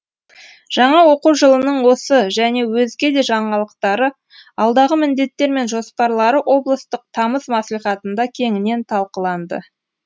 жаңа оқу жылының осы және өзге де жаңалықтары алдағы міндеттер мен жоспарлары облыстық тамыз мәслихатында кеңінен талқыланды